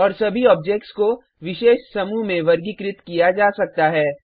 और सभी ऑब्जेक्ट्स को विशेष समूह में वर्गीकृत किया जा सकता है